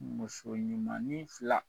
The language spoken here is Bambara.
Muso ɲumanin fila